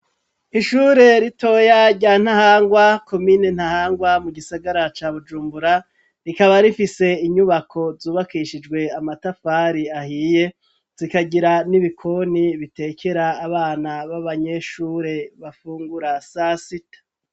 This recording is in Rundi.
Ishure ritoya rya Ntahangwa komine Ntahangwa mu gisagara ca Bujumbura rikaba rifise inyubako zubakishijwe amatafari ahiye zikagira n'ibikoni bitekera abana b'abanyeshure bafungura sasita